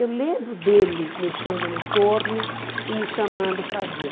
Eu lembro dele mexendo no torno e me chamando para ver.